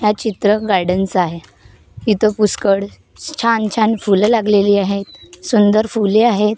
या चित्र गार्डनचा आहे इथं पुष्कड छान छान फुलं लागलेली आहेत सुंदर फुले आहेत .